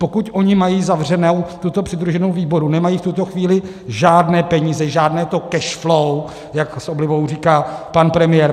Pokud oni mají zavřenou tuto přidruženou výrobu, nemají v tuto chvíli žádné peníze, žádné to cash flow, jak s oblibou říká pan premiér.